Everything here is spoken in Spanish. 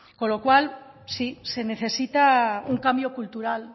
con lo cual sí se necesita un cambio cultural